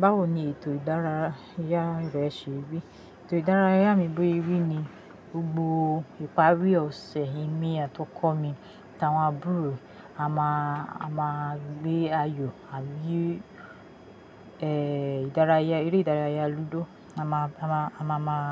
Báwo ni ètò ìdárayá rẹ ṣe rí? Ètò ìdárayá mi bó ye rí ni gbogbo ìparí ọ̀sẹ̀, èmi àti ọkọ mi àti àwọn àbúrò e a máa, a máa gbé ayò, a yí, eh, ìdárayá, eré ìdárayá lúdò. A máa, a máa, a máa máa